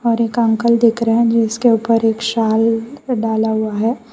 और एक अंकल देख रहे हैं जिसके ऊपर एक साल डाला हुआ है।